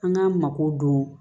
An k'an mako don